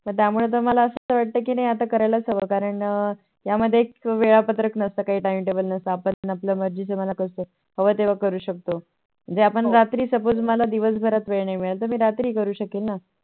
तर त्यामुळे मला असं वाटत कि नाही आता करायलाच हवं या मध्ये काही वेळा पत्रक नसत काही Time table नसत आपण आपल्या मर्जीचे मालक असतो हवं तेव्हा करू शकतो. म्हणजे रात्री आपण Suppose मला दिवस भरात वेळ नाही भेटला तर मी रात्री करू शकेल ना